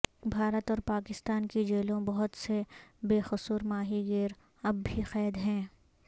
بھارت اور پاکستان کی جیلوں بہت سے بےقصور ماہی گیر اب بھی قید ہیں